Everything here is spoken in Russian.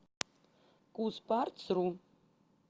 кузпартсру